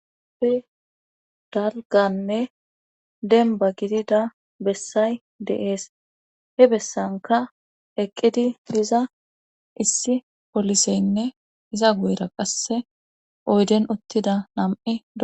Ppe dalganne denba gidida bessay de7ees he bessanka eqqidi diza issi poliseynne iza guyra qasse oyden ottida nam7e